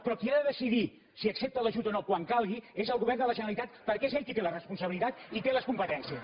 però qui ha de decidir si accepta l’ajut o no quan calgui és el govern de la generalitat perquè és ell qui té la responsabilitat i té les competències